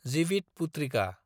Jivitputrika